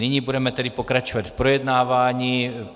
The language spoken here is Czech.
Nyní budeme tedy pokračovat v projednávání.